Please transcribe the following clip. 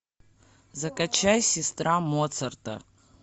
закачай сестра моцарта